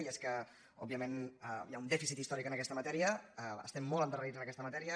i és que òbviament hi ha un dèficit històric en aquesta matèria estem molt endarrerits en aquesta matèria